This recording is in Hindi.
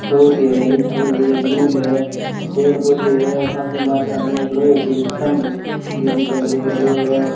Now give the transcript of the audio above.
बहुत ही हरियाली छाई हुई है दूब हैं पेड़ पौधे हैं काफी मात्रा में लोहे के ये स्तंभ भीं दिखाई दे रहें हैं।